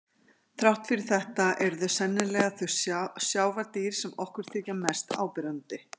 Þrátt fyrir þetta eru þau sennilega þau sjávardýr sem okkur þykja mest áberandi.